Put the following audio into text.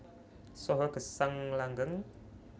Saha gesang langgeng